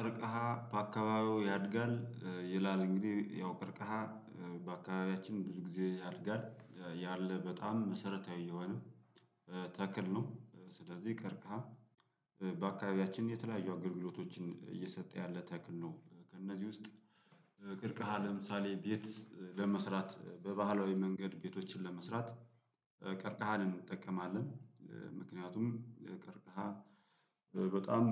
ቀርቀሃ በአካባቢው ያድጋል ይላል እንግዲህ ያው ቀርቀሃ በአካባቢያችን ብዙ ጊዜ ያድጋል ያለ በጣም መሰረታዊ የሆነ ተክል ነው። ስለዚህ ቀርከሃ በአካባቢያችን የተለያዩ አገልግሎቶችን እየሰጠ ያለ ተክል ነው። ከእነዚህ ውስጥ ቀርከሃ ለምሳሌ ቤት ለመስራት በባህላዊ መንገድ ቤቶችን ለመስራት ቀርከሃን እንጠቀማለን። ምክንያቱም ቀርከሃ በጣም